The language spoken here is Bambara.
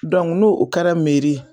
n'o o kɛra meri ye